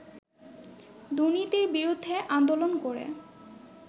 দুর্নীতির বিরুদ্ধে আন্দোলন করে